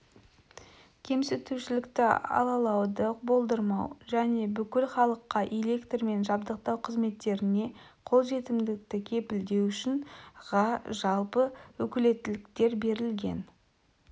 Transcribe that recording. кемсітушілікті алалауды болдырмау және бүкіл халыққа электрмен жабдықтау қызметтеріне қолжетімдікті кепілдеу үшін ға жалпы өкілеттіктер берілген